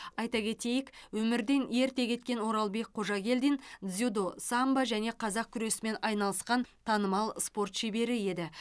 айта кетейік өмірден ерте кеткен оралбек қожагелдин дзюдо самбо және қазақ күресімен айналысқан танымал спорт шебері еді